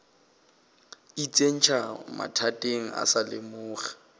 itsentšha mathateng o sa lemoge